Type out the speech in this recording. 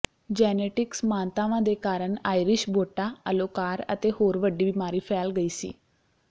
genetic ਸਮਾਨਤਾਵਾਂ ਦੇ ਕਾਰਨ ਆਇਰਿਸ਼ ਬੋਟਾ ਅਲੋਕਾਰ ਅਤੇ ਹੋਰ ਵੱਡੀ ਬਿਮਾਰੀ ਫੈਲ ਗਈ ਸੀ